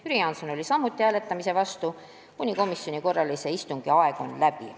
Jüri Jaanson oli samuti hääletamise vastu, sest komisjoni korralise istungi aeg oli läbi.